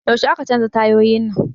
Yaushe aka canza tayoyin nan?